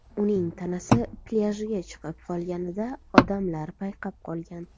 Uning tanasi plyajga chiqib qolganida odamlar payqab qolgan.